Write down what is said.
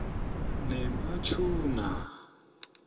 nematuna